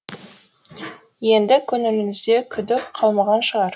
енді көңіліңізде күдік қалмаған шығар